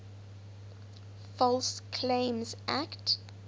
false claims act